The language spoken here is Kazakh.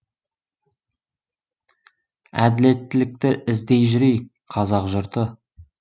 әділеттілікті іздей жүрейік қазақ жұрты